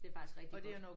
Det er faktisk rigtig godt